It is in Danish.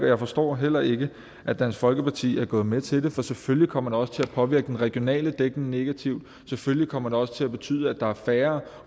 jeg forstår heller ikke at dansk folkeparti er gået med til det for selvfølgelig kommer det også til at påvirke den regionale dækning negativt selvfølgelig kommer det også til at betyde at der er færre